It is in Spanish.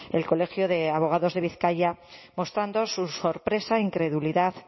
el colegio de abogados de bizkaia mostrando su sorpresa incredulidad